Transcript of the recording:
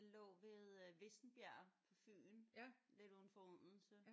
Den lå ved øh Vissenbjerg på Fyn. Lidt udenfor Odense